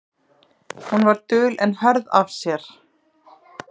Hún var dul en hörð af sér.